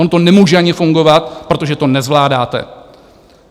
Ono to nemůže ani fungovat, protože to nezvládáte.